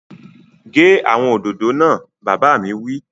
Gé àwọn òdòdó náà! Bàbá mi wí